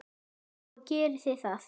Og gerið þið það?